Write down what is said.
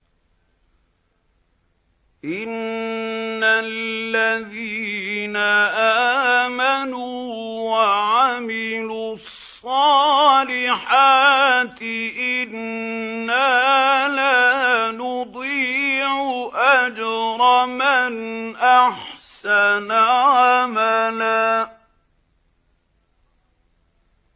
إِنَّ الَّذِينَ آمَنُوا وَعَمِلُوا الصَّالِحَاتِ إِنَّا لَا نُضِيعُ أَجْرَ مَنْ أَحْسَنَ عَمَلًا